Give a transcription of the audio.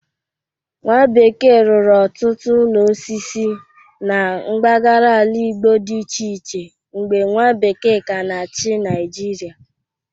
Nwabekee rụrụ ọtụtụ ụlọ osisi na mgbagara ala Igbo dị iche iche mgbe nwa bekee ka na-achị Naịjịrịa.